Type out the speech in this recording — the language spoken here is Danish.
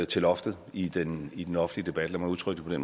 til loftet i den i den offentlige debat lad mig udtrykke det